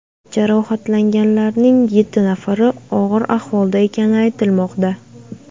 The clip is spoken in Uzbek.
Jarohatlanganlarning yetti nafari og‘ir ahvolda ekani aytilmoqda.